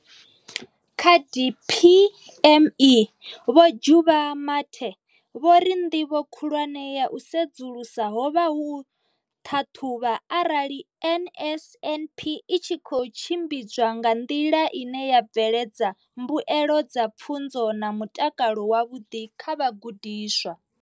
Kha DPME, Vho Juba Mathe, vho ri ndivho khulwane ya u sedzulusa ho vha u ṱhaṱhuvha arali NSNP i tshi khou tshimbidzwa nga nḓila ine ya bveledza mbuelo dza pfunzo na mutakalo wavhuḓi kha vhagudiswa.